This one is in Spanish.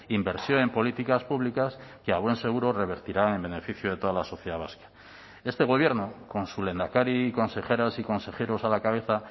inversión en políticas públicas que a buen seguro revertirá en beneficio de toda la sociedad vasca este gobierno con su lehendakari y consejeras y consejeros a la cabeza